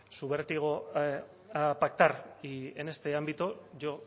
su vértigo a pactar y en este ámbito yo